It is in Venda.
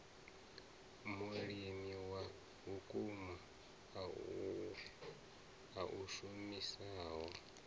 mulimi wa vhukuma a shumisaho